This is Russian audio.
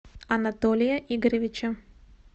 анатолия игоревича